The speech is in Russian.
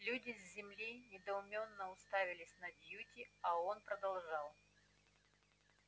люди с земли недоуменно уставились на дьюти а он продолжал